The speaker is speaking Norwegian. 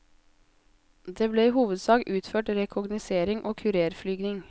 Det ble i hovedsak utført rekognosering og kurerflyging.